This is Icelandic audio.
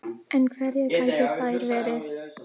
En hverjar gætu þær verið